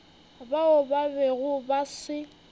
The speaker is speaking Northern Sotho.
bao ba bego ba se